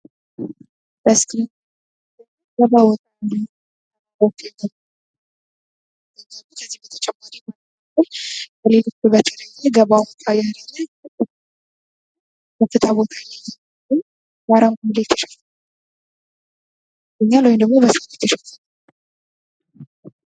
በምስሉ የምናየው ቦታ ገባ ወጣ ያለ ተራራ ያለበት የደረሰ እህል የሚታይበት ነው።